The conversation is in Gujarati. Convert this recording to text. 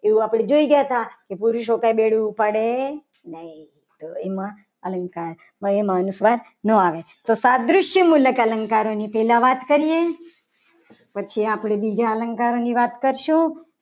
એ આપણે જોઈ ગયા હતા. કે પુરુષો માથે બેડું ઉપાડ નહીં. તો એમાં અલંકાર અનુપ્રાસ ના આવે તો તો સાદ્રી કે મુલસ અલંકારની પહેલા વાત કરીએ. પછી આપણે બીજા અલંકાર ની વાત કરશું.